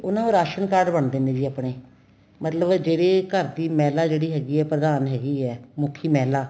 ਉਹਨਾ ਦੇ ration card ਬਣਦੇ ਨੇ ਜੀ ਆਪਣੇ ਮਤਲਬ ਜਿਹੜੀ ਘਰ ਦੀ ਮਹਿਲਾ ਜਿਹੜੀ ਹੈਗੀ ਏ ਪ੍ਰਧਾਨ ਹੈਗੀ ਏ ਮੁੱਖੀ ਮਹਿਲਾ